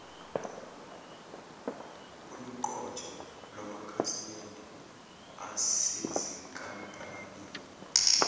oluqotho lwamakhasimende asezinkampanini